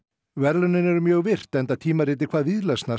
verðlaunin eru mjög virt enda tímaritið hvað